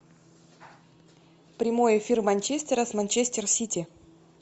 прямой эфир манчестера с манчестер сити